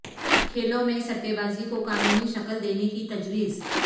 کھیلوں میں سٹے بازی کو قانونی شکل دینے کی تجویز